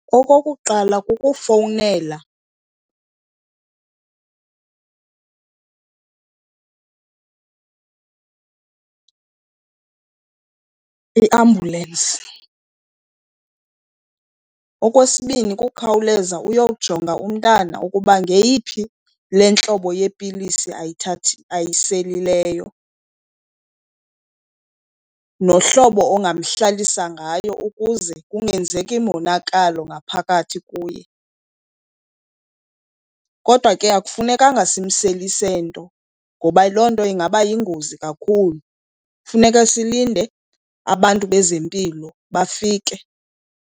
Okokuqala, kukufowunela iambulensi. Okwesibini, kukhawuleza uyojonga umntana ukuba ngeyiphi le ntlobo yepilisi ayiselileyo, nohlobo ongamhlalisa ngalo ukuze kungenzeki monakalo ngaphakathi kuye. Kodwa ke akufunekanga simselise nto ngoba loo nto ingaba yingozi kakhulu, kufuneka silinde abantu bezempilo bafike.